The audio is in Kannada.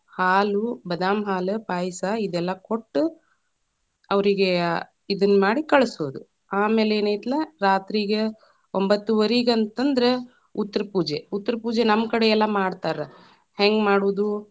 ಹಾಲು, ಬದಾಮಹಾಲು, ಪಾಯಸಾ ಇದೆಲ್ಲಾ ಕೊಟ್ಟು, ಅವ್ರೀಗೆ ಅ ಇದನ್ನ ಮಾಡಿ ಕಳಸೂದು, ಆಮೇಲೆ ಏನ್‌ ಐತಲ್ಲಾ ರಾತ್ರಿಗ ಒಂಭತ್ತುವರಿಗಂತಂದ್ರ ಉತ್ತರಪೂಜೆ. ಉತ್ತರಪೂಜೆ ನಮ್ಮ ಕಡೆ ಎಲ್ಲಾ ಮಾಡ್ತಾರ, ಹೆಂಗ ಮಾಡೋದು.